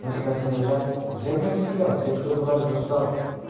они как начали наезжать я не растерялся я открыл багажник доставать